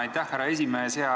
Aitäh, härra esimees!